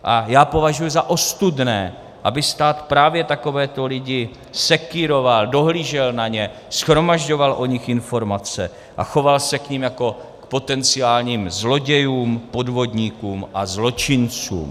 A já považuji za ostudné, aby stát právě takovéto lidi sekýroval, dohlížel na ně, shromažďoval o nich informace a choval se k nim jako k potenciálním zlodějům, podvodníkům a zločincům.